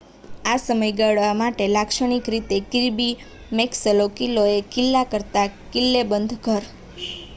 આ સમયગાળા માટે લાક્ષણિક રીતે કિર્બી મેક્સલો કિલ્લો એક કિલ્લા કરતાં કિલ્લેબંધ ઘર